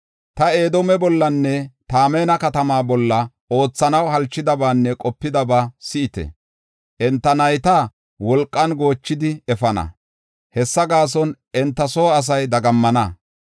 “Ta Edoome bollanne Temaana katamaa bolla oothanaw halchidabanne qopidaba si7ite. Enta nayta wolqan goochidi efana; hessa gaason enta soo asay dagammana.